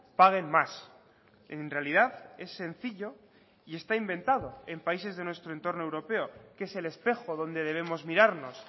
paguen más en realidad es sencillo y está inventado en países de nuestro entorno europeo que es el espejo donde debemos mirarnos